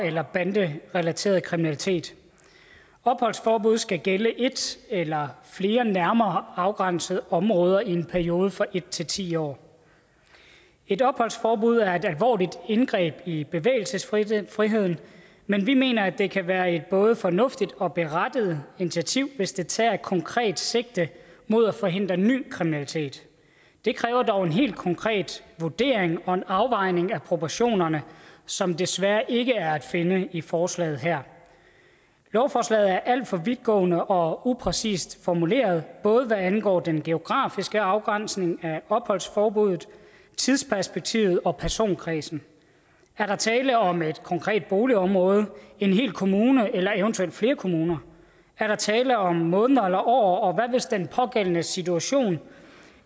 eller banderelateret kriminalitet opholdsforbuddet skal gælde et eller flere nærmere afgrænsede områder i en periode fra en til ti år et opholdsforbud er et alvorligt indgreb i bevægelsesfriheden men vi mener at det kan være et både fornuftigt og berettiget initiativ hvis det tager konkret sigte mod at forhindre ny kriminalitet det kræver dog en helt konkret vurdering og en afvejning af proportionerne som desværre ikke er at finde i forslaget her lovforslaget er alt for vidtgående og upræcist formuleret både hvad angår den geografiske afgrænsning af opholdsforbuddet tidsperspektivet og personkredsen er der tale om et konkret boligområde en hel kommune eller eventuelt flere kommuner er der tale om måneder eller år og hvad hvis den pågældendes situation